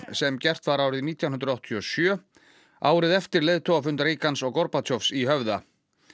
sem gert var árið nítján hundruð áttatíu og sjö árið eftir leiðtogafund Reagans og í Höfða